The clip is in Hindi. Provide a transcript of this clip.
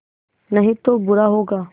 नहीं तो बुरा होगा